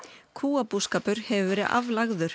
kúabúskapur hefur verið aflagður